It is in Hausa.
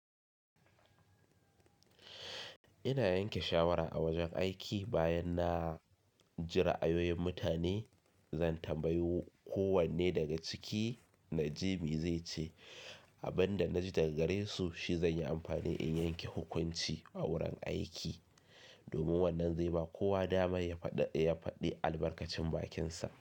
Ina yanke shawara a wajen aiki bayan na ji ra ayoyin mutane. Zan tambayi kowanne daga ciki na ji mai zai ce abin da na ji daga gare su shi zan yi amfani in yanke hukunci a wurin aiki. Domin wannan zai ba kowa dama ya faɗi albarkacin bakinsa.